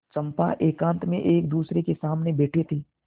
चंपा एकांत में एकदूसरे के सामने बैठे थे